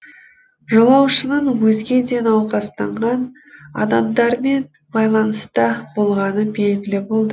жолаушының өзге де науқастанған адамдармен байланыста болғаны белгілі болды